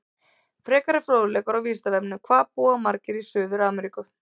Frekari fróðleikur á Vísindavefnum: Hvað búa margir í Suður-Ameríku?